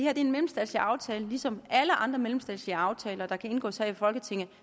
er en mellemstatslig aftale ligesom alle andre mellemstatslige aftaler der kan indgås her i folketinget